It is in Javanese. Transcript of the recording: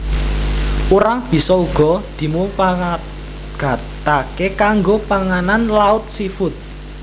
Urang bisa uga dimumpangataké kanggo panganan laut seafood